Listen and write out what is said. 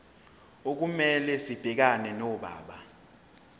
okumele sibhekane nodaba